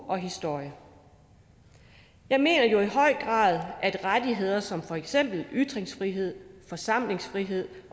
og historie jeg mener jo i høj grad at rettigheder som for eksempel ytringsfrihed forsamlingsfrihed